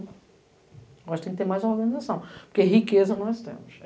Nós temos que ter mais organização, porque riqueza nós temos.